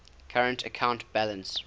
current account balance